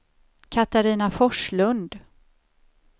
Catarina Forslund